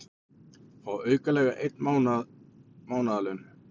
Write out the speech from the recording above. Fá aukalega ein mánaðarlaun